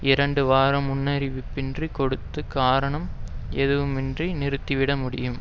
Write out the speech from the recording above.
இரண்டு வார முன்னறிவிப்பு கொடுத்து காரணம் ஏதுமின்றி நிறுத்திவிட முடியும்